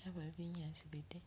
yabayo binyaasi bide.